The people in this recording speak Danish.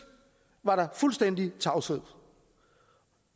var der fuldstændig tavshed